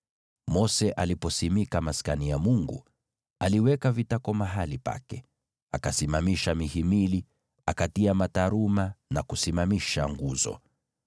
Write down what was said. Mose alipoweka wakfu Maskani ya Mungu, aliweka vitako mahali pake, akasimamisha mihimili, akatia mataruma na kusimamisha nguzo.